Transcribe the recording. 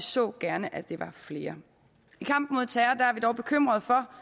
så gerne at det var flere i kampen mod terror er vi dog bekymrede for